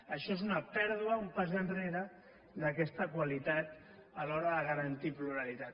això és una pèrdua un pas enrere d’aquesta qualitat a l’hora de garantir pluralitat